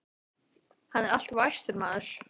Hann er alltof æstur, maðurinn.